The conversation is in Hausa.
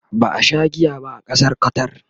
ba a Sha giya ba a Ƙasar Qatar